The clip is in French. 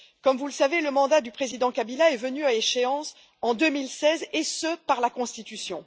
Comme vous le savez, le mandat du président Kabila est venu à échéance en 2016 en vertu de la constitution.